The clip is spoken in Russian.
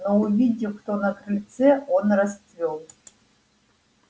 но увидев кто на крыльце он расцвёл